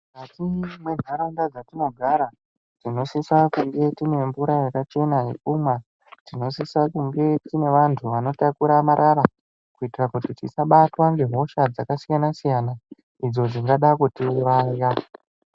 Mukati mwenharaunda dzatinogara tinosisa kunga tiine mmvura yakachena yekumwa, tinosisa kunge tiine vantu vanotakura marara kuitira kuti tisabatwa ngehosha dzakasiyana siyana idzo dzingada kutiuraya.